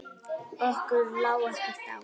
Okkur lá ekkert á.